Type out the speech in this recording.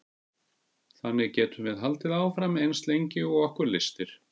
þannig getum við haldið áfram eins lengi og okkur lystir